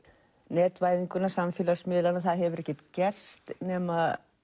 netvæðinguna samfélagsmiðlana það hefur ekkert gerst nema